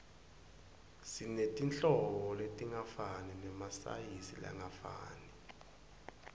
sinetinhlobo letingafani nemasayizi langafani